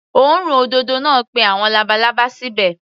Òórùn òdòdó náà pé àwọn labalábá síbẹ̀.